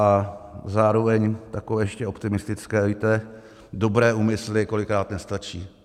A zároveň takové ještě optimistické: Víte, dobré úmysly kolikrát nestačí.